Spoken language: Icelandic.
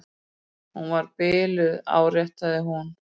Hún var biluð, áréttaði hún.